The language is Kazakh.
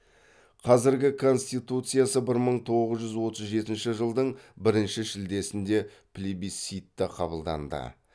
қазіргі конституциясы бір мың тоғыз жүз отыз жетінші жылдың бірінші шілдесінде плебисцитта қабылданды